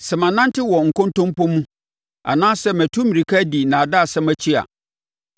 “Sɛ manante wɔ nkontompo mu anaasɛ matu mmirika adi nnaadaasɛm akyi a,